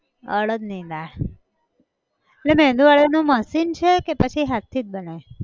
અડદ ની દાળ, એટલે મેંદુ વડા નું machine છે કે પછી હાથ થી જ બને